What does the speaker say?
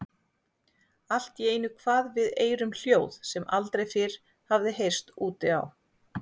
Allt í einu kvað við eyrum hljóð sem aldrei fyrr hafði heyrst úti á